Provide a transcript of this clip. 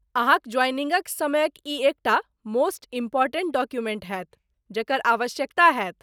अहाँक ज्वाइनिंगक समयक ई एकटा मोस्ट इम्पोर्टेन्ट डॉक्यूमेंट हैत, जकर आवश्यकता हैत।